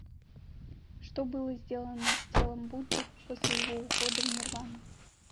что было сделано с телом будды после его ухода в нирвану